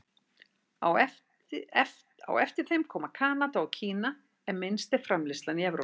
Á eftir þeim koma Kanada og Kína en minnst er framleiðslan í Evrópu.